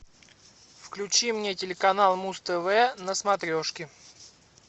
включи мне телеканал муз тв на смотрешке